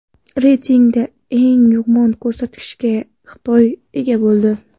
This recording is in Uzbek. Reytingda eng yomon ko‘rsatkichga Xitoy ega bo‘ldi.